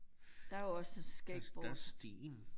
Der er jo også skateboard